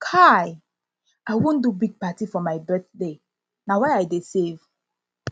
um i wan do big party for my birthday na why i dey save